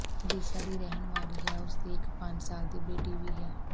ਓਡੀਸ਼ਾ ਦੀ ਰਹਿਣ ਵਾਲੀ ਹੈ ਅਤੇ ਉਸਦੀ ਇੱਕ ਪੰਜ ਸਾਲ ਦੀ ਬੇਟੀ ਵੀ ਹੈ